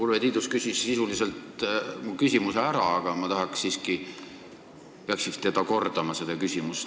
Urve Tiidus küsis sisuliselt mu küsimuse ära, aga ma pean vist seda küsimust kordama.